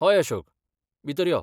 हय अशोक, भितर यो.